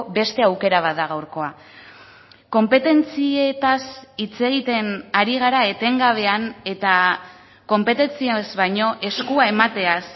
beste aukera bat da gaurkoa konpetentzietaz hitz egiten ari gara etengabean eta konpetentziaz baino eskua emateaz